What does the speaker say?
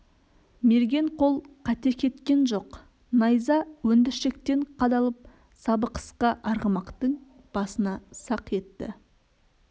мерген қол қате кеткен жоқ найза өндіршектен қадалып сабы қысқа арғымақтың басына сақ етті